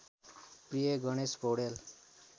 प्रिय गणेश पौडेल